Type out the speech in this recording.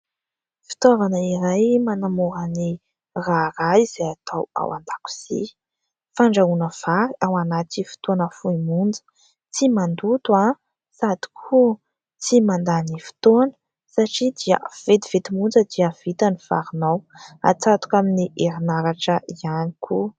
Fitaovana iray manamora ny raharaha izay atao ao an-dakozia, fandrahoana vary ao anaty fotoana fohy monja. Tsy mandoto sady koa tsy mandany fotoana satria dia vetivety monja dia vita ny varinao; hatsatoka amin'ny herinaratra ihany koa.